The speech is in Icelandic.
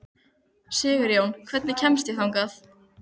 Sigurjón, hvernig kemst ég þangað?